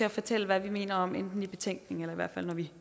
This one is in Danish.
og fortælle hvad vi mener om i en betænkning eller